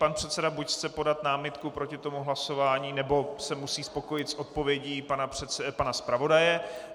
Pan předseda buď chce podat námitku proti tomu hlasování, nebo se musí spokojit s odpovědí pana zpravodaje.